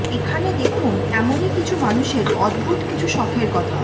এখানে দেখুন এমনই কিছু মানুষের অদ্ভুত কিছু শখের কথা